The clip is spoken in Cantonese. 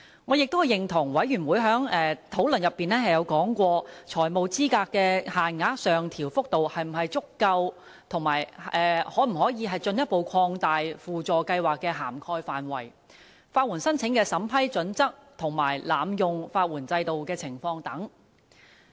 我也認同小組委員會在討論過程中曾提及，財務資格限額的上調幅度是否足夠、法律援助輔助計劃的涵蓋範圍可否進一步擴大、法援申請的審批準則和濫用法援制度的情況等。